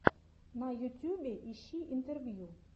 на ютьюбе ищи интервью